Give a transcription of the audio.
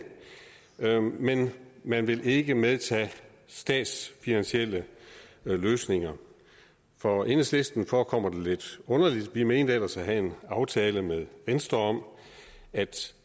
men man vil ikke medtage statsfinansielle løsninger for enhedslisten forekommer det lidt underligt vi mente ellers at have en aftale med venstre om at